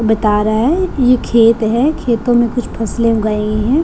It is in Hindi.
बता रहा है ये खेत है खेतों में कुछ फसले उगाई है।